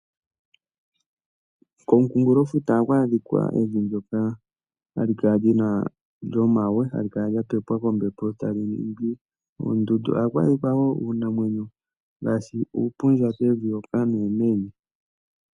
Komukunkulofuta ohaku adhika evi ndoka hali kala lina, lyomawe hali kala lyapepwa kombepo tali ningi ondundu ohaku adhikwa wo uunamwenyo ngaashi uupundja kevi hoka nuumenye.